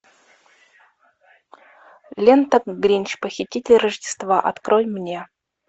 лента гринч похититель рождества открой мне